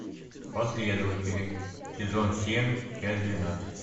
последователи сезон семь часть двенадцать